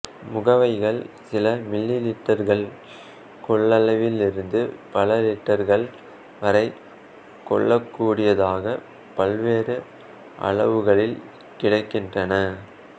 முகவைகள் சில மில்லிலீட்டர்கள் கொள்ளளவிலிருந்து பல லீட்டர்கள் வரை கொள்ளக்கூடியதாகப் பல்வேறு அளவுகளில் கிடைக்கின்றன